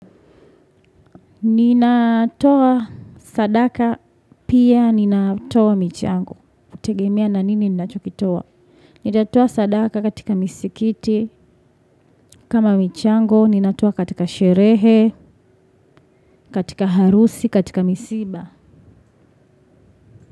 Ninatoa sadaka pia ninatoa michango. Utegemea na nini ninachokitoa? Ninatoa sadaka katika misikiti kama michango. Ninatoa katika sherehe, katika harusi, katika misiba.